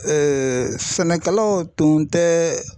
sɛnɛkɛlaw tun tɛ